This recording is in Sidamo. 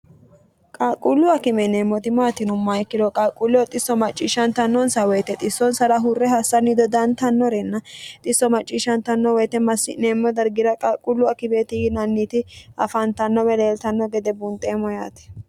qalquullu akime yineemmoti maatinomma ikkiro qalquulleo xisso macciishshantannonsa woyite xissonsara hurre hassanni dodantannorenna xisso macciishshantanno woyite massi'neemmo dargira qalquullu akimeeti yinanniti afaantanno beleeltanno gede bunxeemmo yaati